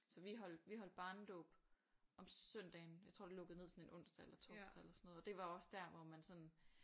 Så vi holdt vi holdte barnedåb om søndagen jeg tror det lukkede ned sådan en onsdag eller torsdag eller sådan noget og det var også sådan